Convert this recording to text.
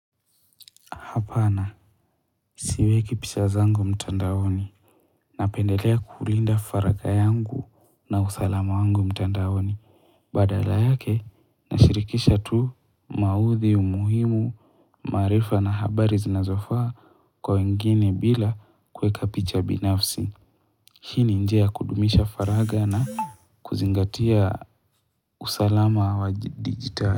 Hapana, siweki pisha zangu mtandaoni. Napendelea kulinda faragha yangu na usalama wangu mtandaoni. Badala yake, nashirikisha tu maudhi, umuhimu, maarifa na habari zinazofaa kwa wengine bila kuweka picha binafsi. Lakini njia kudumisha faragha na kuzingatia usalama wa digitali.